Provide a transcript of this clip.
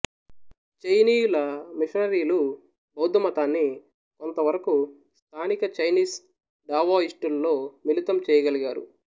చైనీయుల మిషనరీలు బౌద్ధమతాన్ని కొంతవరకు స్థానిక చైనీస్ డావోయిస్టుల్లో మిళితం చెయ్యగలిగారు